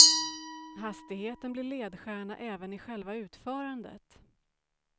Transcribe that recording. Hastigheten blir ledstjärna även i själva utförandet.